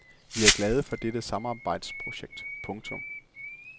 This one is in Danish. Vi er glade for dette samarbejdsprojekt. punktum